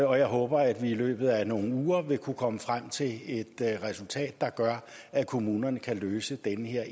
og jeg håber at vi i løbet af nogle uger vil kunne komme frem til et resultat der gør at kommunerne kan løse den her